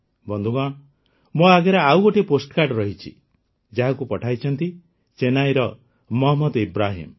ବନ୍ଧୁଗଣ ମୋ ଆଗରେ ଆଉ ଗୋଟିଏ ପୋଷ୍ଟକାର୍ଡ଼ ରହିଛି ଯାହାକୁ ପଠାଇଛନ୍ତି ଚେନ୍ନାଇର ମହମ୍ମଦ ଇବ୍ରାହିମ୍